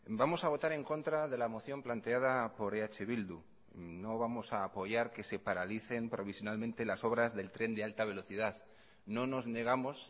vamos a votar en contra de la moción planteada por eh bildu no vamos a apoyar que se paralicen provisionalmente las obras del tren de alta velocidad no nos negamos